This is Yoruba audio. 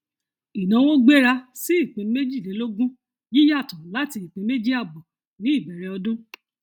ìnáwó gbéra sí ìpín méjìlélógún yíyàtọ láti ìpín méjì àbọ ní ìbẹrẹ ọdún